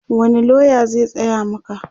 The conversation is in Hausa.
wani loya zai tsaya Maka?